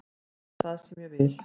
Þetta er það sem ég vil.